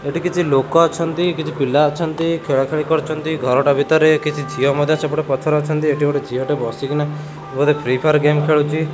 ଏଠି କିଛି ଲୋକ ଅଛନ୍ତି କିଛି ପିଲା ଅଛନ୍ତି ଖେଳା ଖେଳି କରୁଚନ୍ତି ଘରଟା ଭିତରେ କିଛି ଝିଅ ମଧ୍ୟ ସେପଟେ ପଛରେ ଅଛନ୍ତି ଏଠି ଗୋଟେ ଝିଅ ଗୋଟେ ବସି କିନା ବୋଧେ ଫ୍ରିଫିୟାର ଗେମେ ଖେଳୁଚି।